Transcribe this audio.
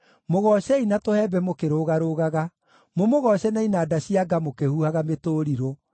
mũgoocei na tũhembe mũkĩrũgarũgaga, mũmũgooce na inanda cia nga mũkĩhuhaga mĩtũrirũ,